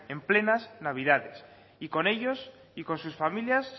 en plenas navidades y con ellos y con sus familias